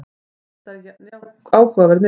þetta er áhugaverð niðurstaða